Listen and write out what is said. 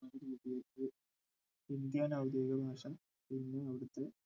രൂപീകരിച്ചത്‌ ഹിന്ദി ആണ് ഔദ്യോഗികഭാഷ പിന്നെ അവിടത്തെ